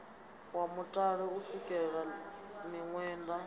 wa mutale u sukela miṅwenda